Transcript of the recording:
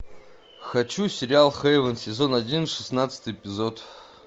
хочу сериал хейвен сезон один шестнадцатый эпизод